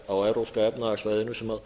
á evrópska efnahagssvæðinu sem